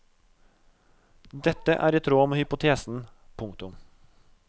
Dette er i tråd med hypotesen. punktum